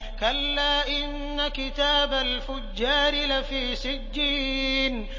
كَلَّا إِنَّ كِتَابَ الْفُجَّارِ لَفِي سِجِّينٍ